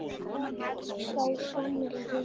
Sá gamli refur.